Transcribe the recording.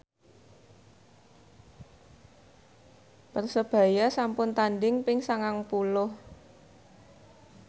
Persebaya sampun tandhing ping sangang puluh